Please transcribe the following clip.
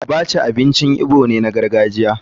Abacha abincin igbo ne na gargajiya.